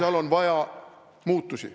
... ja seal on vaja muutusi.